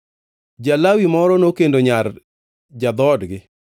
Ja-Lawi moro nokendo nyar ja-dhoodgi,